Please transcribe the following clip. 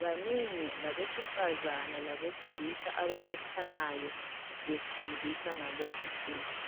banengi labesifazane labesilisa ababuthanayo befundiswa ngalezinsuku.